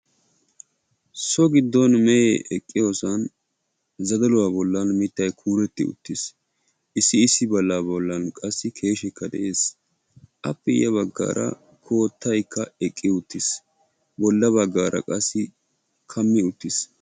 So giiddon meehe eqiyoosan zadaluwaa bollan mittay kuureti uttis; issi issi bolla bollan qassi keeshekka de'ees appe ya baggaara koottaykka eqqi uttis bolla baggaara qassi kaami uttis.